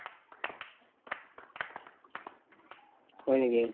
হয় নেকি